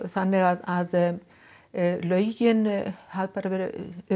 þannig lögin hafa verið